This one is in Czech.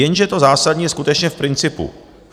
Jenže to zásadní je skutečně v principu.